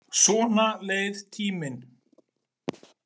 Svona leið tíminn.